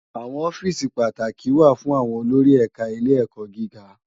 Awòn òfìsí pàátákí wá fún áwòn ólórí ẹká Ilé Èkò gigá